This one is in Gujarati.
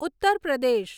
ઉત્તર પ્રદેશ